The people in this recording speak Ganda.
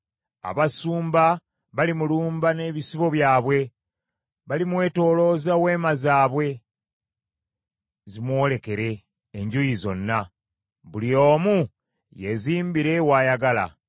Abasumba balimulumba n’ebisibo byabwe. Balimwetoolooza weema zaabwe zimwolekere enjuuyi zonna, buli omu yeezimbire w’ayagala.